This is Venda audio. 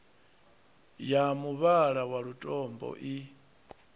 ya muvhala wa lutombo i